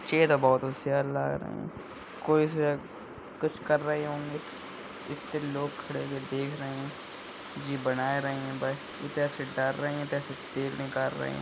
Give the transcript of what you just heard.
जे तो बहुत होशियार लाग रहे हैं। कोई से कुछ कर रहे होंगे इत्ते लोग खड़े हुए देख रहे हैं जी बना रहे है बस इधर से डार रहे है इधर से तेल निकाल रहे हैं।